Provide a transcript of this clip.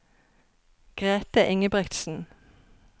Grethe Ingebrigtsen